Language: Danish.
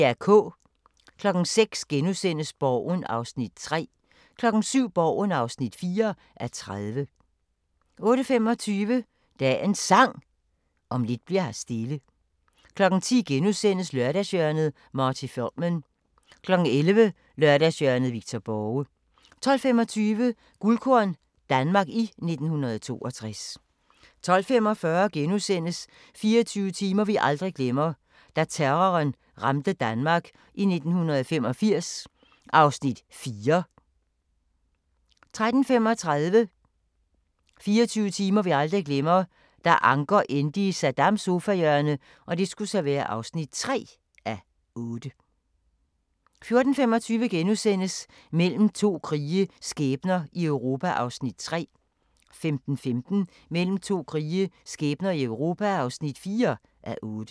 06:00: Borgen (3:30)* 07:00: Borgen (4:30) 08:25: Dagens Sang: Om lidt bli'r her stille 10:00: Lørdagshjørnet - Marty Feldman * 11:00: Lørdagshjørnet – Victor Borge 12:25: Guldkorn - Danmark i 1962 12:45: 24 timer vi aldrig glemmer: Da terroren ramte Danmark i 1985 (4:8)* 13:35: 24 timer vi aldrig glemmer: Da Anker endte i Saddams sofahjørne (3:8) 14:25: Mellem to krige – skæbner i Europa (3:8)* 15:15: Mellem to krige – skæbner i Europa (4:8)